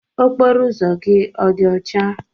Okporo ụzọ gị ọ dị ọcha?